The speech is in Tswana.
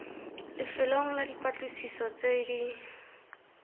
lefelong la dipatlisiso tse di